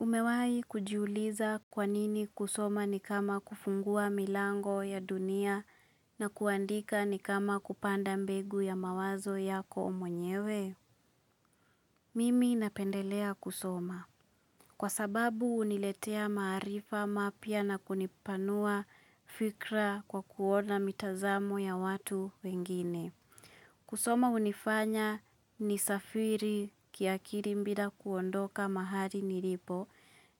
Umewai kujiuliza kwanini kusoma ni kama kufungua milango ya dunia na kuandika ni kama kupanda mbegu ya mawazo yako mwenyewe? Mimi napendelea kusoma. Kwa sababu uniletea maarifa mapya na kunipanua fikra kwa kuona mitazamo ya watu wengine. Kusoma unifanya nisafiri kiakili bila kuondoka mahali niripo